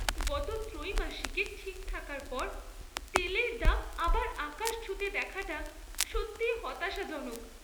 গত ত্রৈমাসিকে ঠিক থাকার পর তেলের দাম আবার আকাশ ছুঁতে দেখাটা সত্যিই হতাশাজনক!